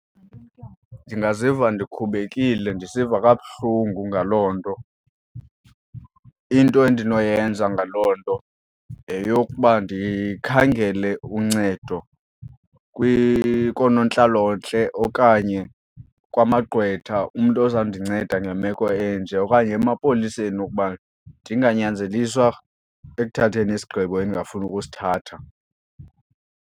Ndingaziva ndikhubekile ndisiva kabuhlungu ngaloo nto. Into endinoyenza ngaloo nto yeyokuba ndikhangele uncedo koonontlalontle okanye kwamagqwetha umntu ozawundinceda ngemeko enje okanye emapoliseni wokuba ndinganyanzeliswa ekuthatheni isigqibo endingafuni ukusithatha.